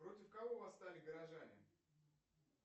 против кого восстали горожане